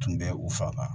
Tun bɛ u fanga